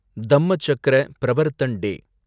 Dhammachakra Pravartan டே